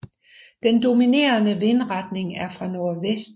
Den dominerende vindretning er fra nordvest